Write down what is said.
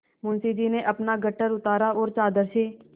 मुंशी जी ने अपना गट्ठर उतारा और चादर से